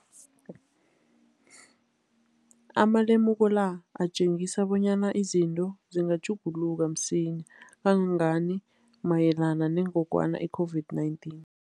Amalemuko la atjengisa bonyana izinto zingatjhuguluka msinyana kangangani mayelana nengogwana i-COVID-19.